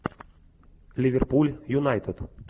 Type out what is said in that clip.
ливерпуль юнайтед